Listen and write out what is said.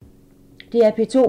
DR P2